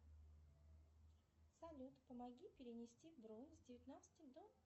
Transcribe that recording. салют помоги перенести дрон с девятнадцати до